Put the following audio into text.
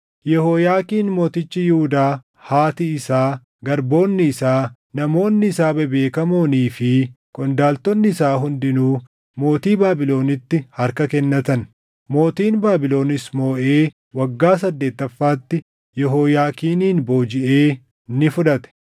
Yehooyaakiin mootichi Yihuudaa, haati isaa, garboonni isaa, namoonni isaa bebeekamoonii fi qondaaltonni isaa hundinuu mootii Baabilonitti harka kennatan. Mootiin Baabilonis mooʼee waggaa saddeettaffaatti Yehooyaakiinin boojiʼee ni fudhate.